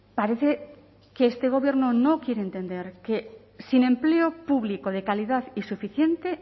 parece que este gobierno no quiere entender que sin empleo público de calidad y suficiente